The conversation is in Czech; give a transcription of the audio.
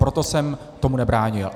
Proto jsem tomu nebránil.